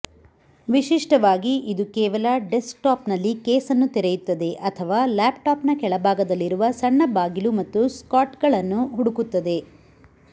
ವಿಶಿಷ್ಟವಾಗಿ ಇದು ಕೇವಲ ಡೆಸ್ಕ್ಟಾಪ್ನಲ್ಲಿ ಕೇಸ್ ಅನ್ನು ತೆರೆಯುತ್ತದೆ ಅಥವಾ ಲ್ಯಾಪ್ಟಾಪ್ನ ಕೆಳಭಾಗದಲ್ಲಿರುವ ಸಣ್ಣ ಬಾಗಿಲು ಮತ್ತು ಸ್ಲಾಟ್ಗಳನ್ನು ಹುಡುಕುತ್ತದೆ